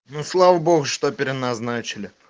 ну слава богу что переназначили